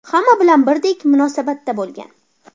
Hamma bilan birdek munosabatda bo‘lgan.